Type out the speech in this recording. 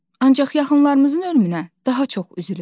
Ancaq yaxınlarımızın ölümünə daha çox üzülürük.